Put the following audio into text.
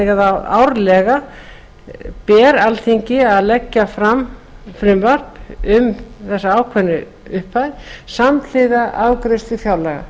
að árlega ber alþingi að leggja fram frumvarp um þessa ákveðnu upphæð samhliða afgreiðslu fjárlaga